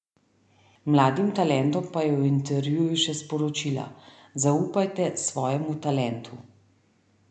Mladim talentom pa je v intervjuju še sporočila: "Zaupajte svojemu talentu.